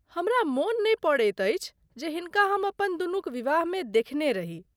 हमरा मोन नहि पड़ैत अछि जे हिनका हम अपन दुनुक विवाहमे देखने रही।